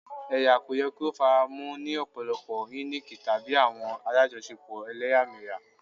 Ẹya ko yẹ ki o faramọ ni ọpọlọpọ-hinic tabi awọn alajọṣepọ ẹlẹyamẹya